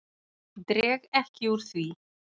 Dreg ekki úr því.